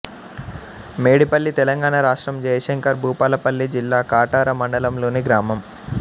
మేడిపల్లి తెలంగాణ రాష్ట్రం జయశంకర్ భూపాలపల్లి జిల్లా కాటారం మండలంలోని గ్రామం